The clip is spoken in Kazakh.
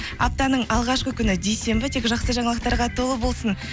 аптаның алғашқы күні дүйсенбі тек жақсы жаңалықтарға толы болсын